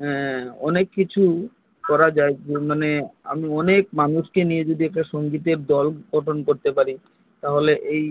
হু অনেক কিছু করা যায় যদি আমি অনেক মানুষ নিয়ে সঙ্গীতের দল গঠন তাহলে এই